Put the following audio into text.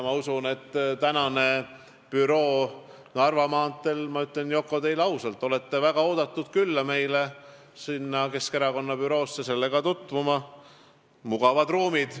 Ma usun, et büroos Narva maanteel – ma ütlen, Yoko, teile ausalt, et te olete väga oodatud külla Keskerakonna bürooga tutvuma – on mugavad ruumid.